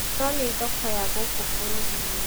Nonĩ thoko ya gũkũ bũrũri-inĩ